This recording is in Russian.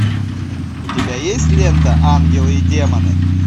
у тебя есть лента ангелы и демоны